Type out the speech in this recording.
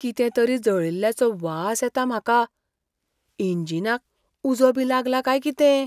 कितें तरी जळिल्ल्याचो वास येता म्हाका. इंजिनाक उजो बी लागला काय कितें?